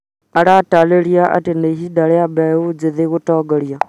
Aratarĩria atĩ nĩ ihinda rĩa mbeũ njĩtgĩ gũtongoria